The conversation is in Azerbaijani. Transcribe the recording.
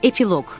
Epiloq.